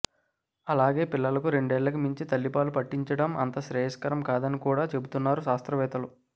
అలాగే పిల్లలకు రెండేళ్ళకి మించి తల్లి పాలు పట్టించడం అంత శ్రేయస్కరం కాదని కూడా చెబుతున్నారు శాస్త్రవేత్తలు